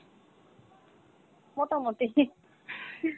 মোটামোটি ঠিক।